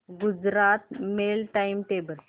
Gujarat mail time table